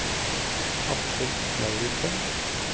Aksel Lauritzen